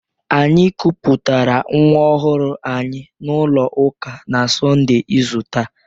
Anyị kupụtara nwa ọhụrụ anyị n'ụlọ ụka na Sọnde izu taa.